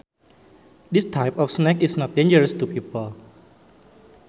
This type of snake is not dangerous to people